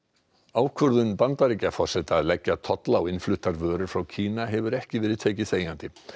ákvörðun Bandaríkjaforseta að leggja tolla á innfluttar vörur frá Kína hefur ekki verið tekið þegjandi